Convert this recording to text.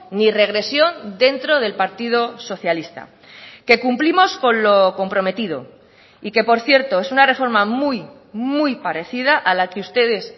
ni regresión dentro del partido socialista que cumplimos con lo comprometido y que por cierto es una reforma muy muy parecida a la que ustedes